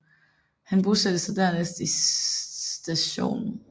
Han bosatte sig dernæst i St